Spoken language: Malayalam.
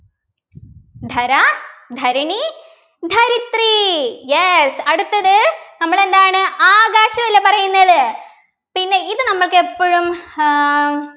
ധര ധരണി ധരിത്രി yes അടുത്തത് നമ്മൾ എന്താണ് ആകാശമല്ലേ പറയുന്നത് പിന്നെ ഇത് നമുക്ക് എപ്പോഴും ഏർ